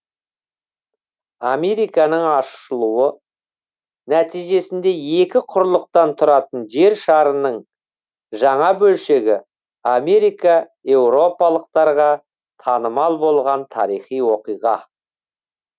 американың ашылуы нәтижесінде екі құрлықтан тұратын жер шарының жаңа бөлшегі америка еуропалықтарға танымал болған тарихи оқиға